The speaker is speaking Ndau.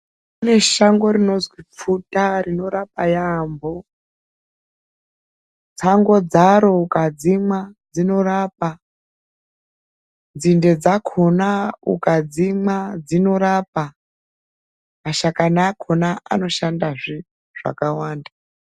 Kune shango rinozwi pfuta rinorapa yaambo. Tsango dzaro ukadzimwa dzinorapa. Nzinde dzakona ukadzimwa dzinorapa. Mashakani akona anoshandazve zvakawanda.